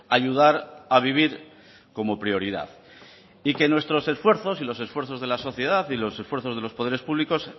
ayudar a vivir como prioridad y que nuestros esfuerzos y los esfuerzos de la sociedad y lo esfuerzos de los poderes públicos